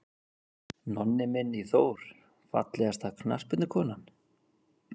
Nonni Minn í Þór Fallegasta knattspyrnukonan?